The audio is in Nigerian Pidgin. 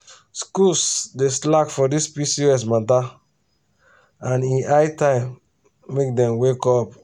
schools dey slack for this pcos matter and e high time make dem wake up.